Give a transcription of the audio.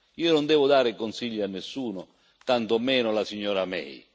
Io non devo dare consigli a nessuno, tanto meno alla signora May.